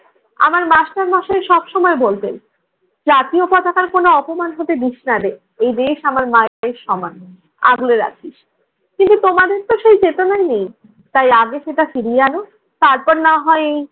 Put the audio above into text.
আমার মাস্টারমশাই সবসময় বলতেন, জাতীয় পতাকার কোন অপমান হতে দিসনারে। এই দেশ আমার মায়েদের সমান, আগলে রাখিস। কিন্তু তোমাদেরতো সেই চেতনা নেই। তাই আগে সেটা ফিরিয়ে আন তারপর না হয়